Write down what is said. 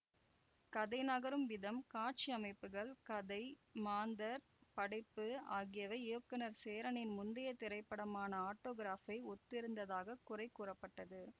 கதை நகரும் விதம் காட்சியமைப்புகள் கதை மாந்தர் படைப்பு ஆகியவை இயக்குனர் சேரனின் முந்தைய திரைப்படமான ஆட்டோகிராப்பை ஒத்திருந்ததாக குறை கூறப்பட்டது